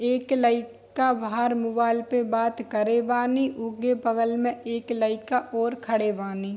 एक लई का बाहार मुवाल पे बात करेवानी ऊके बगल में एक लईका और खड़े वानी।